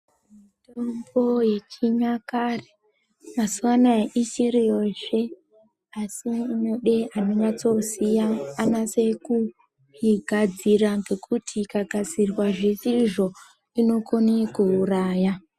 Mutombo yechinyakare mazuwa anaa ichiriyozve asi inode anonyasoziya anase kuigadzira ngekuti ikagadzirwa zvisizvo inokone kuuraya